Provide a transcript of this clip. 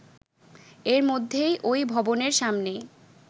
এর মধ্যেই ওই ভবনের সামনেই